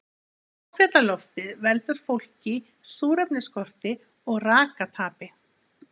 Háfjallaloftið veldur fólki súrefnisskorti og rakatapi.